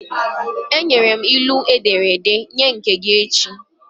Enyere m ilu m e dere ede, nye nke gị echi!